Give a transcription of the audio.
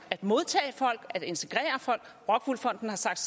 at modtage folk at integrere folk rockwool fonden har sagt